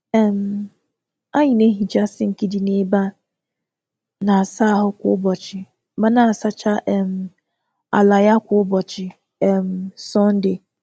Anyị na-asacha sinki ime ụlọ ịsa ahụ kwa ụbọchị, ma na-asa taịl n’ime igwe mmiri n’ụbọchị Sọnde.